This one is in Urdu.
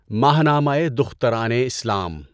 ماہنامۂ دخترانِ اسلام